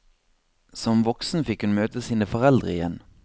Som voksen fikk hun møte sine foreldre igjen.